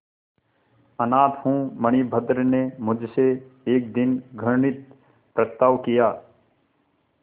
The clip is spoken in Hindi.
अनाथ हूँ मणिभद्र ने मुझसे एक दिन घृणित प्रस्ताव किया